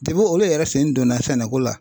Debi olu yɛrɛ sen donna sɛnɛko la.